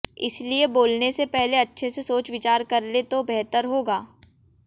इसलिए बोलने से पहले अच्छे से सोच विचार कर लें तो बेहतर होगा